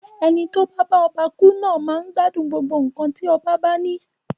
Eni tí o ba bá ọba ku naa máa n gbádùn gbogbo nkan ti ọba ba ni.